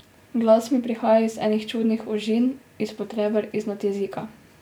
Glas mi prihaja iz enih čudnih ožin, izpod reber, iznad jezika.